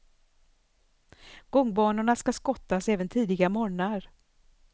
Gångbanor ska skottas även tidiga morgnar.